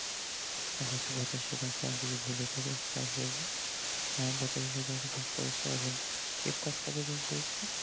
আচ্ছা আচ্ছা পঁচাশি শতাংশ আমি যদি ভুল হয়ে থাকি আমি খেয়াল করিনি হ্যাঁ পঁচাশি শতাংশ পাস করেছে এবং a plus কতজন পেয়েছে